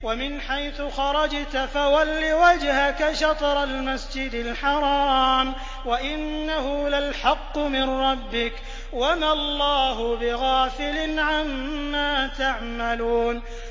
وَمِنْ حَيْثُ خَرَجْتَ فَوَلِّ وَجْهَكَ شَطْرَ الْمَسْجِدِ الْحَرَامِ ۖ وَإِنَّهُ لَلْحَقُّ مِن رَّبِّكَ ۗ وَمَا اللَّهُ بِغَافِلٍ عَمَّا تَعْمَلُونَ